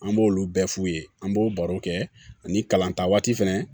An b'olu bɛɛ f'u ye an b'o barow kɛ ani kalan ta waati fɛnɛ